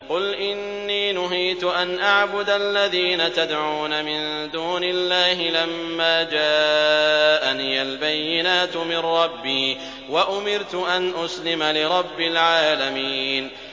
۞ قُلْ إِنِّي نُهِيتُ أَنْ أَعْبُدَ الَّذِينَ تَدْعُونَ مِن دُونِ اللَّهِ لَمَّا جَاءَنِيَ الْبَيِّنَاتُ مِن رَّبِّي وَأُمِرْتُ أَنْ أُسْلِمَ لِرَبِّ الْعَالَمِينَ